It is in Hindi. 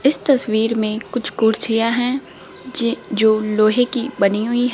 इस तस्वीर में कुछ कुर्सियां है जे जो लोहे की बनी हुई--